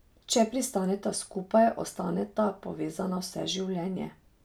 Če pristaneta skupaj, ostaneta povezana vse življenje.